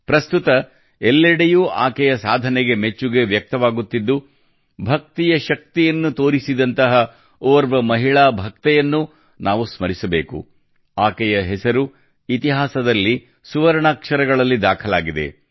ಪ್ರಸ್ತುತ ಎಲ್ಲೆಡೆಯೂ ಆಕೆಯ ಸಾಧನೆಗೆ ಮೆಚ್ಚುಗೆ ವ್ಯಕ್ತವಾಗುತ್ತಿದ್ದು ಭಕ್ತಿಯ ಶಕ್ತಿಯನ್ನು ತೋರಿಸಿದಂತಹ ಓರ್ವ ಮಹಿಳಾ ಭಕ್ತೆಯನ್ನೂ ನಾವು ಸ್ಮರಿಸಬೇಕು ಆಕೆಯ ಹೆಸರು ಇತಿಹಾಸದಲ್ಲಿ ಸುವರ್ಣಾಕ್ಷರಗಳಲ್ಲಿ ದಾಖಲಾಗಿದೆ